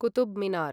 Qutub Minar